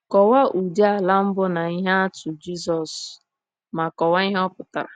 Kọwaa ụdị ala mbụ na ihe atụ Jisọs, ma kọwaa ihe ọ pụtara.